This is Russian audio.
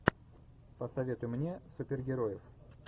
посоветуй мне супергероев